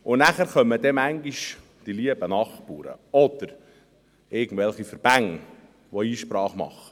Danach kommen manchmal die lieben Nachbarn oder irgendwelche Verbände, welche Einsprache machen.